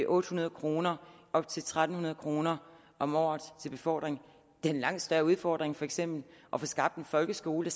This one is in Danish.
otte hundrede kroner og op til tre hundrede kroner om året til befordring det er en langt større udfordring for eksempel at få skabt en folkeskole